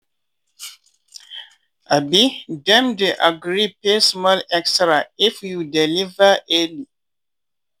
um dem dey agree pay small extra if you deliver early.